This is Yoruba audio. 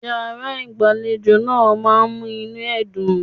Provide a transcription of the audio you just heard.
Yàrá-ìgbàlejò náà ma mú inú ẹ dùn.